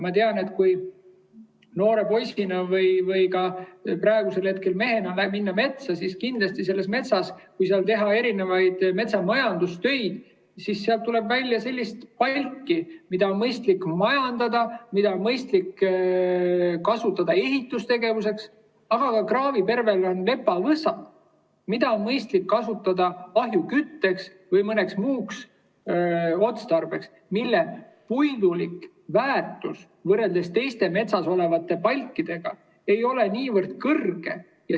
Ma tean, olles noore poisina või ka praegu, mehena, käinud metsas, et kindlasti, kui metsas teha metsamajandustöid, siis sealt tuleb välja sellist palki, mida on mõistlik majandada, mida on mõistlik kasutada ehitustegevuseks, aga kraavipervel on lepavõsa, mida on mõistlik kasutada ahjukütteks või mõneks muuks otstarbeks, selle puidu väärtus võrreldes teiste metsas olevate palkide väärtusega ei ole niivõrd kõrge.